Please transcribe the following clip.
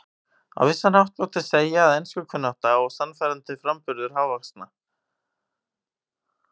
Á vissan hátt mátti segja að enskukunnátta og sannfærandi framburður hávaxna